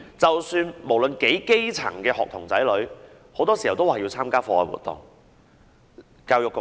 即使是基層的學童，很多時也要參加課外活動。